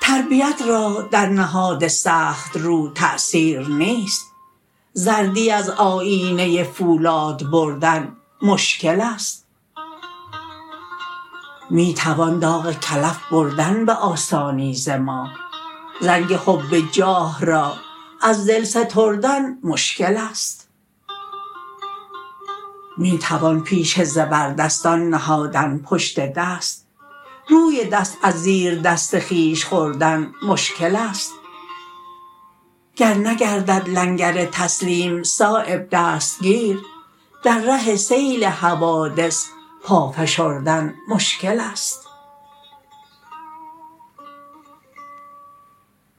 تربیت را در نهاد سخت رو تأثیر نیست زردی از آیینه فولاد بردن مشکل است می توان داغ کلف بردن به آسانی ز ماه زنگ حب جاه را از دل ستردن مشکل است می توان پیش زبردستان نهادن پشت دست روی دست از زیر دست خویش خوردن مشکل است گر نگردد لنگر تسلیم صایب دستگیر در ره سیل حوادث پا فشردن مشکل است